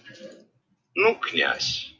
ну-ка